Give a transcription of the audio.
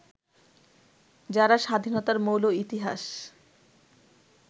যারা স্বাধীনতার মৌল ইতিহাস